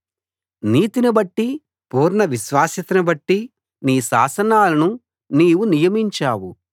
నీతినిబట్టి పూర్ణ విశ్వాస్యతనుబట్టి నీ శాసనాలను నీవు నియమించావు